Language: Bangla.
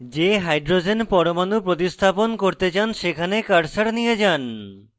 যে hydrogen পরমাণু প্রতিস্থাপন করতে চান সেখানে cursor নিয়ে যান